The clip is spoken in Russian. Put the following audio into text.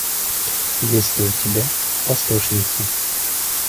есть ли у тебя послушница